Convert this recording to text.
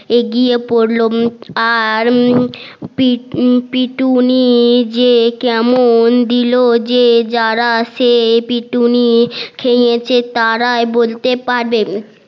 এগিয়ে পড়লো আর পিটুনি যে কেমন দিল যে জারা সেই পিটুনি খেয়েছে তারাই বলতে পারবে